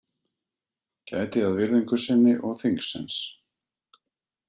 Gæti að virðingu sinni og þingsins